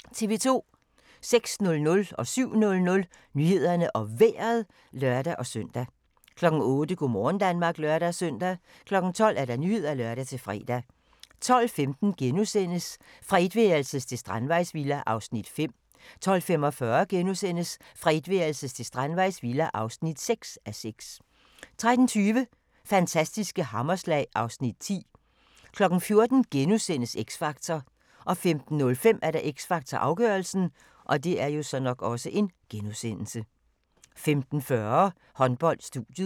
06:00: Nyhederne og Vejret (lør-søn) 07:00: Nyhederne og Vejret (lør-søn) 08:00: Go' morgen Danmark (lør-søn) 12:00: Nyhederne (lør-fre) 12:15: Fra etværelses til strandvejsvilla (5:6)* 12:45: Fra etværelses til strandvejsvilla (6:6)* 13:20: Fantastiske hammerslag (Afs. 10) 14:00: X Factor * 15:05: X Factor - afgørelsen 15:40: Håndbold: Studiet